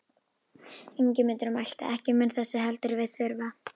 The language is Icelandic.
Ingimundur mælti: Ekki mun þess heldur við þurfa.